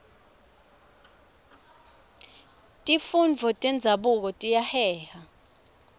tifundvo tenzabuko tiyaheha